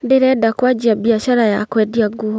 Ndĩrenda kwanjia biacara ya kũendia nguo